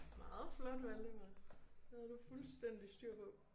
Meget flot Valdemar. Det havde du fuldstændig styr på